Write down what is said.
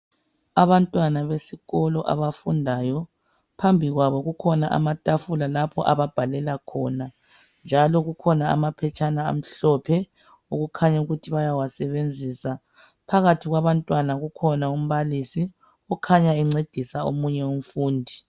Abantwana besikolo abafundayo, phambi kwabo kukhona amatafula lapho ababhalela khona njalo kukhona amaphetshana amhlophe okukhanya ukuthi bayawasebenzisa. Phakathi kwabantwana ukhona umbalisi okhanya encedisa omunye umfundi.